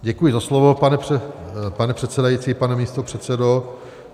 Děkuji za slovo, pane předsedající, pane místopředsedo.